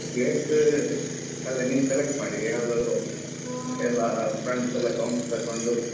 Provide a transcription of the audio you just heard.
Place ಅದೆ ನೀವು select ಮಾಡಿ, ಯಾವುದಾದ್ರು okay . friends ಎಲ್ಲ counts ತಕೊಂಡು.